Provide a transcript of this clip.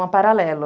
Chama Paralelo.